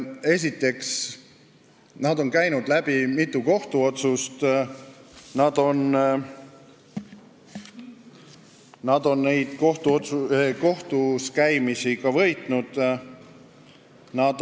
Esiteks, nende kohta on tehtud mitu kohtuotsust ja nad on neid kohtuskäimisi ka võitnud.